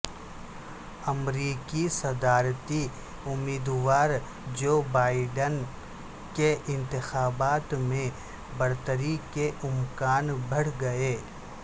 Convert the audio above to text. امریکی صدارتی امیدوار جو بائیڈن کے انتخابات میں برتری کے امکان بڑھ گئے